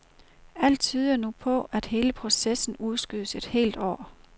Alt tyder nu på, at hele processen udskydes et helt år.